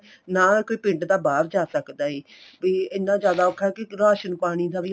ਨਾ ਕੋਈ ਪਿੰਡ ਦਾ ਬਾਹਰ ਜਾ ਸਕਦਾ ਏ ਤੇ ਇੰਨਾ ਜਿਆਦਾ ਔਖਾ ਕੇ ਰਾਸ਼ਣ ਪਾਣੀ ਦਾ ਵੀ